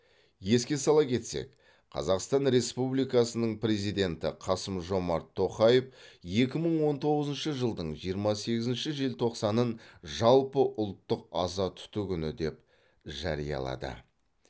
еске сала кетсек қазақстан республикасының президенті қасым жомарт тоқаев екі мың он тоғызыншы жылдың жиырма сегізінші желтоқсанын жалпыұлттық аза тұту күні деп жариялады